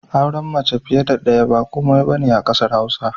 Auren mace fiye da ɗaya ba komai ba ne a ƙasar Hausa